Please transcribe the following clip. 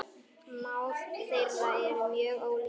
Mál þeirra eru mjög ólík.